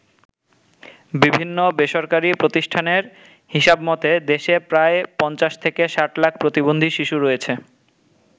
বিভিন্ন বেসরকারী প্রতিষ্ঠানের হিসাব মতে দেশে প্রায় ৫০ থেকে ৬০ লাখ প্রতিবন্ধী শিশু রয়েছে।